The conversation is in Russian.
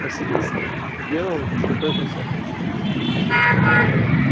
василиск сделал слепой бросок